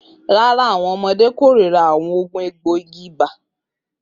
Rara, awọn ọmọde korira awọn oogun egboigi Ubwa